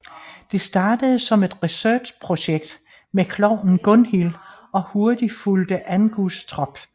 Det startede som et researchprojekt med klovnen Gunhil og hurtigt fulgte Angus trop